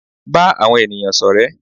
Ba àwọn ènìyàn sọrẹ.